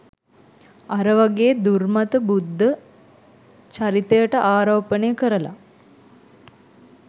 අර වගේ දුර්මත බුද්ධ චරිතයට ආරෝපණය කරලා